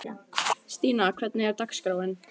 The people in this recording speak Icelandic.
Stína, hvernig er dagskráin?